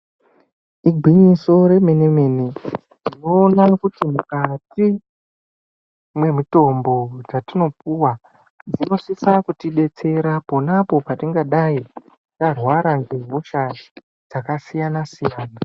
Igwinyiso remene mene, tinoona kuti mukati mwemutombo dzatinopuwa dzinosisa kuti betsera ponapo patingadai tarwara nehosha dzakasiyana siyana.